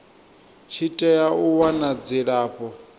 tshi tea u wana dzilafho